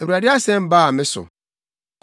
Awurade asɛm baa me so: